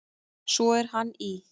Svo er hann í